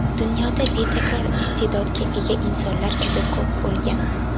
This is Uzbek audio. Dunyoda betakror iste’dodga ega insonlar juda ko‘p bo‘lgan.